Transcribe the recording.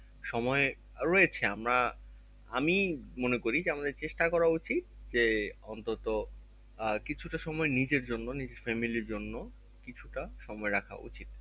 সময় রয়েছে আমরা আমি মনে করি যে আমাদের চেষ্টা করা উচিত যে অন্তত আহ কিছুটা সময় নিজের জন্য নিজের family এর জন্য কিছুটা সময় রাখা উচিত